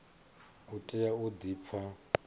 u tea u di pfa